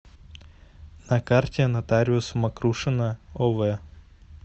на карте нотариус мокрушина ов